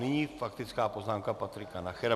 Nyní faktická poznámka Patrika Nachera.